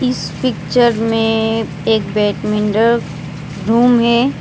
इस पिक्चर में एक बैडमिंटन रूम है।